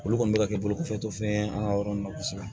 Olu kɔni bɛ ka kɛ bolo kɔfɛtɔ fɛn ye an ka yɔrɔ nun na kosɛbɛ